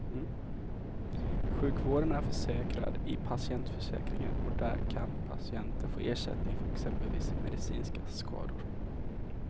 Sjukvården är försäkrad i patientförsäkringen och där kan patienten få ersättning för exempelvis medicinska skador.